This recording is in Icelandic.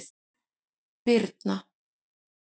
Birna